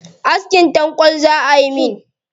Askin tanƙwal za ayi min.